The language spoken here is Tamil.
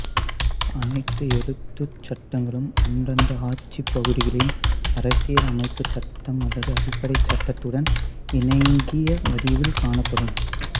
அனைத்து எழுத்துருச் சட்டங்களும் அந்தந்த ஆட்சிப் பகுதிகளின் அரசியல் அமைப்புச் சட்டம் அல்லது அடிப்படைச் சட்டத்துடன் இணங்கிய வடிவில் காணப்படும்